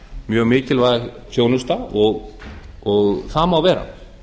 mjög mikilvæg þjónusta og það má vera